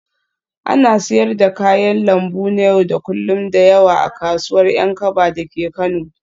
Ana siyar da kayan lambu na yau da kullun da yawa a kasuwar Yankaba dake Kano